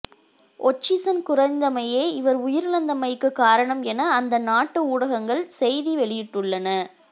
ஒட்சிசன் குறைந்தமையே இவர் உயிரிழந்தமைக்கு காரணம் என அந்த நாட்டு ஊடகங்கள் செய்தி வெளியிட்டுள்ளன